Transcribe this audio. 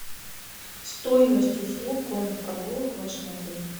стоимость услуг конных прогулок в вашем отеле